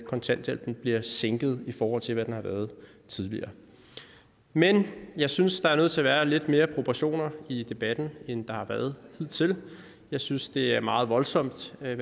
kontanthjælpen bliver sænket i forhold til hvad den har været tidligere men jeg synes der er nødt til at være lidt mere proportion i debatten end der har været hidtil jeg synes det er meget voldsomt hvad